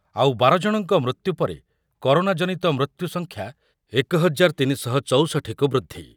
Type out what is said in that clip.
ଆଉ ବାର ଜଣଙ୍କ ମୃତ୍ୟୁ ପରେ କରୋନା ଜନିତ ମୃତ୍ୟୁ ସଂଖ୍ୟା ଏକ ହଜାର ତିନି ଶହ ଚୌଷଠି କୁ ବୃଦ୍ଧି